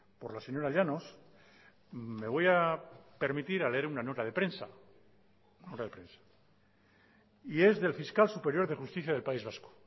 por la señora llanos me voy a permitir a leer una nota de prensa y es del fiscal superior de justicia del país vasco